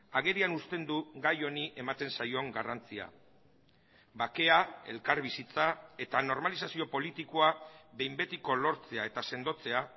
agerian uzten du gai honi ematen zaion garrantzia bakea elkarbizitza eta normalizazio politikoa behin betiko lortzea eta sendotzea